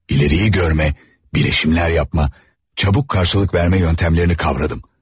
İleriyi görmə, bilişimlər yapma, çabuk qarşılıq vermə yönətmələrini kavradım.